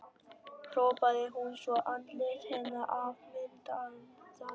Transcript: hrópaði hún svo andlit hennar afmyndaðist.